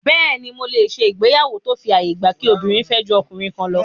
Bẹ́ẹ̀ni, mo lè ṣe ìgbéyàwó tó fi àyè gba kí obìnrin fẹ́ ju ọkùnrin kan lọ